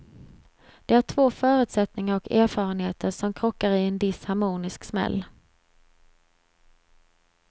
Det är två förutsättningar och erfarenheter som krockar i en disharmonisk smäll.